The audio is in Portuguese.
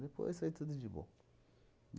Depois foi tudo de bom.